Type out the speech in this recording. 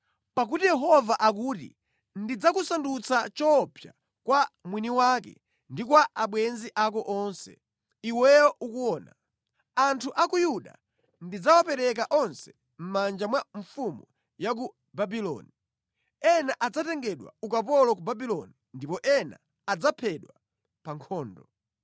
Pakuti Yehova akuti, ‘Ndidzakusandutsa choopsa kwa mwiniwakewe ndi kwa abwenzi ako onse; iweyo ukuona. Anthu a ku Yuda ndidzawapereka onse mʼmanja mwa mfumu ya ku Babuloni. Ena adzatengedwa ukapolo ku Babuloni ndipo ena adzaphedwa pa nkhondo.